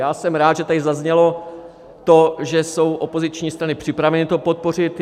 Já jsem rád, že tady zaznělo to, že jsou opoziční strany připraveny to podpořit.